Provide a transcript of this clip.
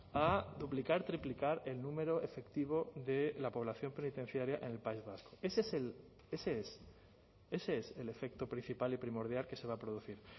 a duplicar triplicar el número efectivo de la población penitenciaria en el país vasco ese es ese es el efecto principal y primordial que se va a producir